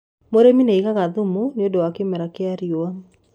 mũrĩmi nĩaigaga thumu nĩũndũ wa kĩmera kĩa riũa